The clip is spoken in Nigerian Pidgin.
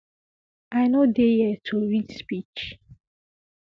i no dey here to read speech